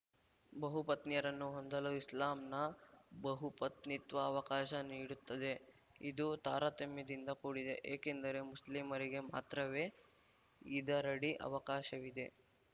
ಬಹುಪತ್ನಿಯರನ್ನು ಹೊಂದಲು ಇಸ್ಲಾಂನ ಬಹುಪತ್ನಿತ್ವ ಅವಕಾಶ ನೀಡುತ್ತದೆ ಇದು ತಾರತಮ್ಯದಿಂದ ಕೂಡಿದೆ ಏಕೆಂದರೆ ಮುಸ್ಲಿಮರಿಗೆ ಮಾತ್ರವೇ ಇದರಡಿ ಅವಕಾಶವಿದೆ